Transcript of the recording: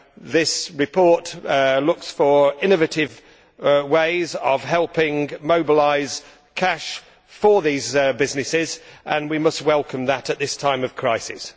This report looks for innovative ways of helping mobilise cash for these businesses, and we must welcome that at this time of crisis.